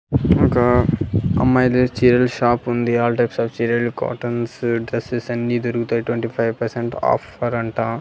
ఇంకా అమ్మాయిల చీరల షాపుంది ఆల్ టైప్స్ ఆఫ్ చీరలు కాటన్స్ డ్రస్సెస్ అన్ని దొరుకుతాయి ట్వంటీ ఫైవ్ పర్సెంట్ ఆఫరంట .